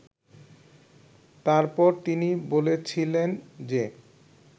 তারপর তিনি বলেছিলেন যে